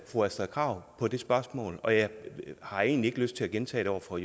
fru astrid krag på det spørgsmål og jeg har egentlig ikke lyst til at gentage det over for